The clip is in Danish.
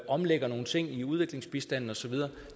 omlægger nogle ting i udviklingsbistanden og så videre